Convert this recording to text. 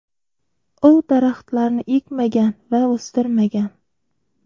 U daraxtlarni ekmagan va o‘stirmagan.